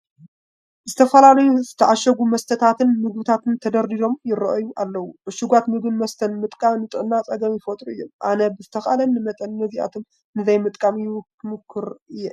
ዝተፈላለዩ ዝተዓሸጉ መስተታትን ምግብታትን ተደርዲሮም ይርአዩ ኣለዉ፡፡ ዕሹጋት ምግብን መስተን ምጥቃም ንጥዕና ፀገም ይፈጥሩ እዮም፡፡ ኣነ ብዝተኻእለኒ መጠን ነዚኣቶም ንዘይምጥቃም ይሙክር እየ፡፡